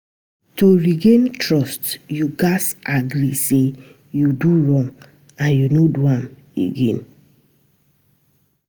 To regain trust, yu gats agree say yu do wrong and no do am again.